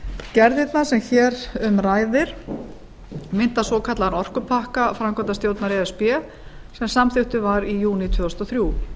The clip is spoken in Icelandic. gerðirnar sem hér um ræðir mynda svokallaðan orku pakka framkvæmdastjórnar e s b sem samþykktur var í júní tvö þúsund og þrjú